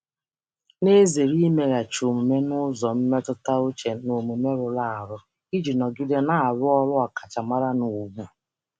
na-ezere imeghachi omume n'ụzọ mmetụta uche na omume rụrụ arụ iji nọgide na-arụ ọrụ ọkachamara na ùgwù.